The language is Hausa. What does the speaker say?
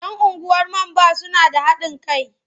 Yan unguwar man ba su da haɗin kai.